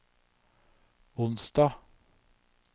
onsdag